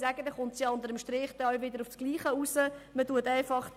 In diesem Fall läuft es unter dem Strich wieder auf dasselbe hinaus.